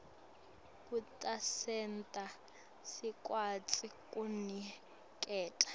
kutasenta sikwati kuniketa